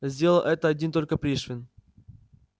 сделал это один только пришвин